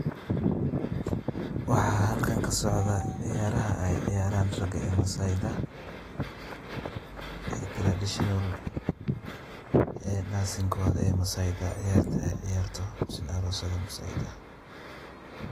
Waxa halkan kasocdoh ceyaraha Aya ceyaran raga, massanyga ee traditionaldancer kothaga massnyanaha ceyarta mise aroosyada massanyga.